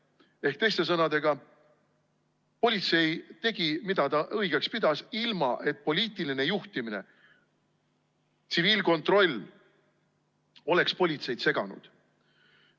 Ehk teiste sõnadega, politsei tegi, mida ta õigeks pidas, ilma et poliitiline juhtimine ja tsiviilkontroll oleks politseid seganud.